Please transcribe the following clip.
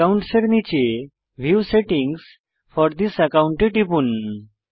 account এর নীচে view settings for this account এ টিপুন